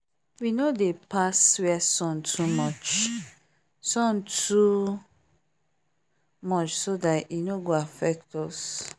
we no dey pass where sun too much sun too much so that e no go affect us